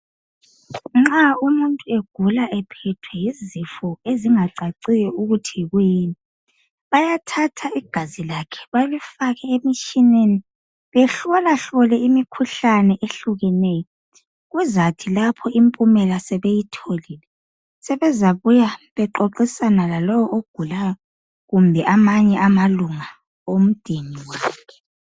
Nxa umuntu egula izifo ezingacaciyo bayathatha igazi lakhe balifake emtshineni ,kuhlolahlolwe imikhuhlane etshiyeneyo kuzathi lapho impumela sibuya kuxoxiswane lalowo ozabuya loba amanye amalunga omdeni.